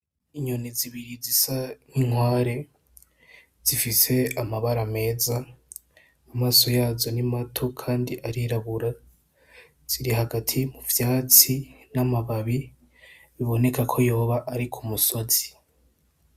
Inyoni zibiri zisa nk'inkware zifise amabara meza amaso yazo ni mato kandi arirabura, ziri hagati muvyatsi n' amababi biboneka ko yoba ari kumusozi.